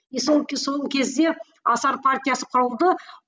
и сол сол кезде асар партиясы құрылды